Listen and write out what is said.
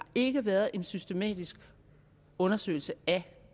ikke været en systematisk undersøgelse af